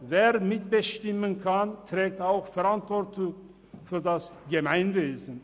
Wer mitbestimmen kann, trägt auch Verantwortung für das Gemeinwesen.